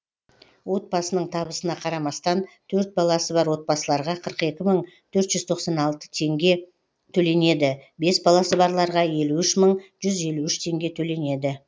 отбасының табысына қарамастан төрт баласы бар отбасыларға қырық екі мың төрт жүз тоқсан алты теңге төленеді бес баласы барларға елу үш мың жүз елу үш теңге төленеді